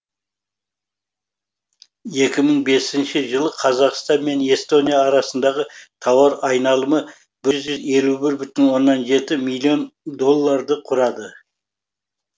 екі мың бесінші жылы қазақстан мен эстония арасындағы тауар айналымы бір жүз елу бір бүтін оннан жеті миллион долларды құрады